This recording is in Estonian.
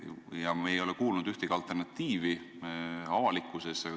Me ei ole avalikkuses kuulnud ühtegi alternatiivi.